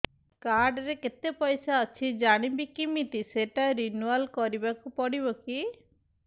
card ରେ କେତେ ପଇସା ଅଛି ଜାଣିବି କିମିତି ସେଟା ରିନୁଆଲ କରିବାକୁ ପଡ଼ିବ କି